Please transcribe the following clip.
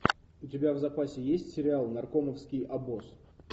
у тебя в запасе есть сериал наркомовский обоз